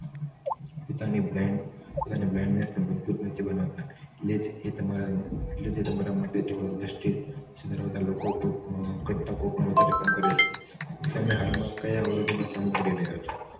પોતાની blind પોતાની blindness ને મજબૂત નથી બનાવતા એ તમારા માટે તેઓ industuries ત્યાંના લોકો ઘટકો પણ વધારે કામ કરે અને હાલમાં કયા અવરોધોનો સામનો કરી રહ્યા છે